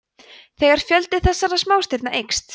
þegar fjöldi þessara smástirna eykst